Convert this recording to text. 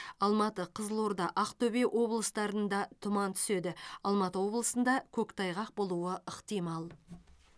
алматы қызылорда актөбе облыстарында тұман түседі алматы облысында көктайғақ болуы ықтимал